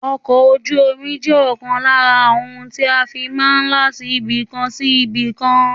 Ọkọ̀ ojú omi je òkan lára àwọn ohun tí a fi máa n láti ibìkan sí ibìkan